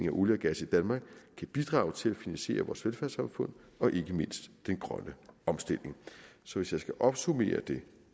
af olie og gas i danmark kan bidrage til at finansiere vores velfærdssamfund og ikke mindst den grønne omstilling så hvis jeg skal opsummere det